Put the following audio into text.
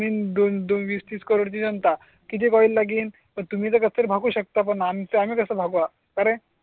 दोन वीस तीस करोड़ जनता किती ऑइल लागेल? पण तुम्ही बघू शकता पण आम्ही तसं भगवा करण.